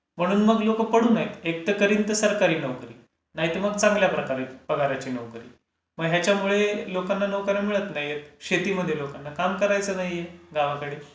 म्हणून मग लोकं पडून आहेत. एकतर करीन तर सरकारी नोकरी नाहीतर मग चांगल्या प्रकारे पगारची नोकरी मग हयाच्यामुळे लोकांना नोकर् या मिळत नाहीत. शेतीमध्ये लोकांना काम करायचं नाहीये गावाकडे.ॉ